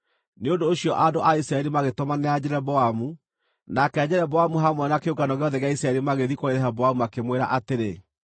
Nĩ ũndũ ũcio andũ a Isiraeli magĩtũmanĩra Jeroboamu, nake Jeroboamu hamwe na kĩũngano gĩothe gĩa Isiraeli magĩthiĩ kũrĩ Rehoboamu makĩmwĩra atĩrĩ: